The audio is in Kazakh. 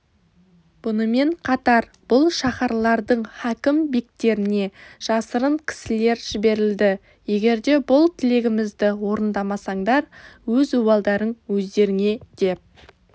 бұнымен қатар бұл шаһарлардың хакім бектеріне жасырын кісілер жіберілді егерде бұл тілегімізді орындамасаңдар өз обалдарың өздеріңедеп